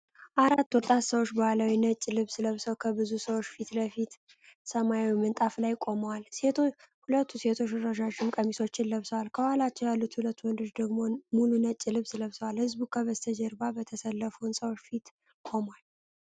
አራት ወጣት ሰዎች ባህላዊ ነጭ ልብስ ለብሰው ከብዙ ሰዎች ፊት ለፊት በሰማያዊ ምንጣፍ ላይ ቆመዋል። ሁለቱ ሴቶች ረዣዥም ቀሚሶችን ለብሰዋል፤ ከኋላቸው ያሉት ሁለት ወንዶች ደግሞ ሙሉ ነጭ ልብስ ለብሰዋል። ሕዝቡ ከበስተጀርባ በተሰለፉ ህንጻዎች ፊት ቆሟል።